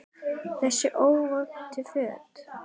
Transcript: Þessa óvæntu för.